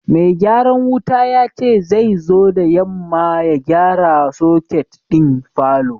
Mai gyaran wuta ya ce zai zo da yamma ya gyara soket din falon.